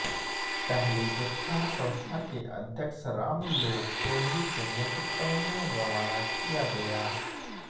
पहले जत्था संस्था के अध्यक्ष राम लोक चौधरी के नेतृत्व में रवाना किया गया